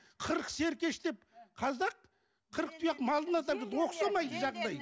қырық серкеш деп қазақ қырық тұяқ малын атап жатады жағдай